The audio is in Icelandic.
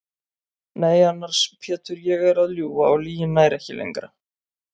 Nei annars Pétur ég er að ljúga og lygin nær ekki lengra.